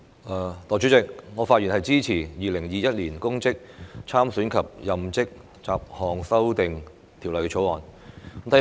代理主席，我發言支持《2021年公職條例草案》。